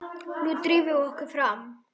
Nú drífum við okkur fram!